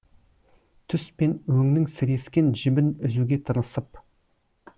түс пен өңнің сірескен жібін үзуге тырысып